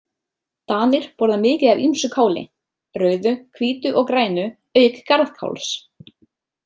Danir borða mikið af ýmsu káli, rauðu, hvítu og grænu, auk garðkáls.